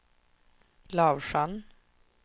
Lavsjön